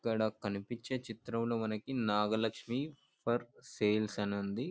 ఇక్కడ కనిపించే చిత్రం లో మనకి నాగలక్ష్మి ఫర్ సేల్స్ అని ఉంది.